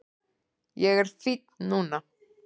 Ég er fínn núna